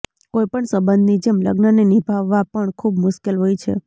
કોઇપણ સંબંધની જેમ લગ્નને નીભાવવા પણ ખૂબ મુશ્કેલ હોય છે